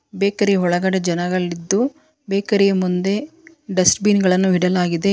Bakery ಒಳಗಡೆ ಜನಗಳಿದ್ದು ಬೇಕರಿಯ ಮುಂದೆ ಡಸ್ಟ್ ಬಿನ್ ಗಳನ್ನು ಇಡಲಾಗಿದೆ.